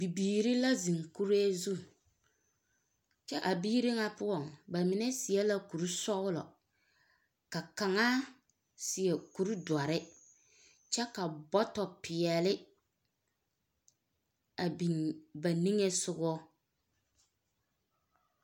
Bibiiri la zeŋ kuree zu. Kyԑ a biiri ŋa poͻŋ, ba mine seԑ la kuri sͻgelͻ. Ka kaŋa seԑ kuri dͻre kyԑ ka bͻtͻpeԑle a biŋ ba niŋe sogͻ.